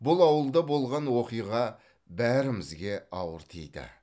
бұл ауылда болған оқиға бәрімізге ауыр тиді